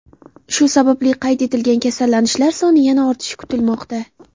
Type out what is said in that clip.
Shu sababli qayd etilgan kasallanishlar soni yana ortishi kutilmoqda.